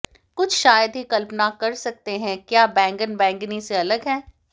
कुछ शायद ही कल्पना कर सकते हैं क्या बैंगन बैंगनी से अलग है